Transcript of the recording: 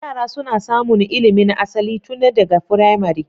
Yara suna samun ilimin asali tun daga firamare.